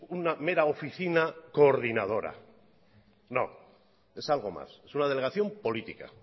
una mera oficina coordinadora no es algo más es una delegación política